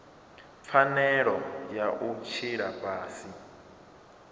pfanelo ya u tshila fhasi